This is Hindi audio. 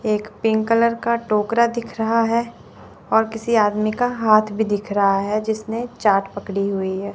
एक पिंक कलर का टोकरा दिख रहा है और किसी आदमी का हाथ भी दिख रहा है जिसने चाट पक ड़ी हुई है।